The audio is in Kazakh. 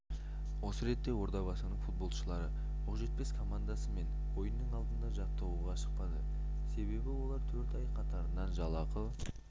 осы ретте ордабасының футбошылары оқжетпес командасымен ойынның алдында жаттығуға шықпады себебі олар төрт ай қатарынан жалақы